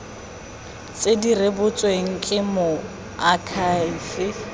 tse di rebotsweng ke moakhaefe